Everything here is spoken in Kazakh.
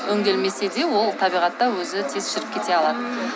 өнделмесе де ол табиғатта өзі тез шіріп кете алады